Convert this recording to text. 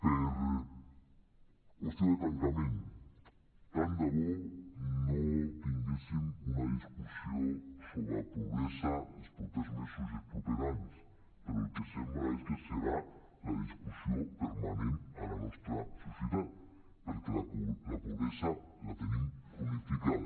per qüestió de tancament tant de bo no tinguéssim una discussió sobre pobresa els propers mesos i els propers anys però el que sembla és que serà la discussió permanent a la nostra societat perquè la pobresa la tenim cronificada